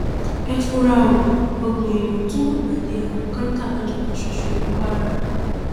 ẹ fura o ọgbọn èèyàn tún lùgbàdì àrùn kọńtà lọjọ kan ṣoṣo ní kwara